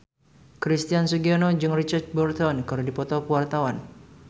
Christian Sugiono jeung Richard Burton keur dipoto ku wartawan